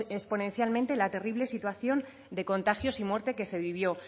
exponencialmente la terrible situación de contagios y muerte que se vivió